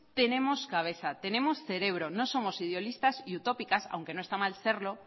tenemos cabeza tenemos cerebro no somos idealistas y utópicas aunque no está mal serlo